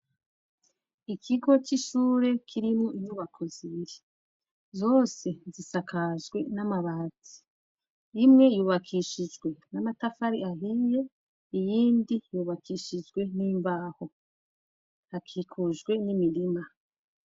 Ikigo c'ishure kirimwo inyubako zibiri zose zisakajwe n'amabatsi imwe yubakishijwe n'amatafari ahiye iyindi yubakishijwe n'imbaho hakikujwe n'imirima.